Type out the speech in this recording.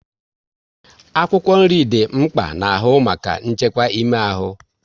Akwụkwọ nri dị mkpa n'ahụ maka nchekwa ime ahụ